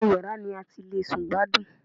Inú yàrá ni a ti le sùn gbádùn